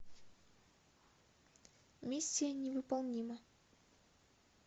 миссия невыполнима